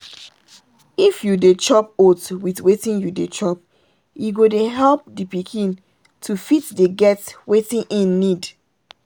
if you dey chop oats with wetin you dey chop e go dey help the pikin to fit dey get wetin hin need.